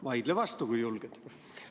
Vaidle vastu, kui julged.